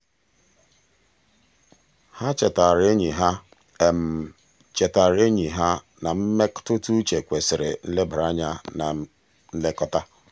ha chetaara enyi ha chetaara enyi ha na mmetụtauche kwesịrị nlebara anya na nlekọta.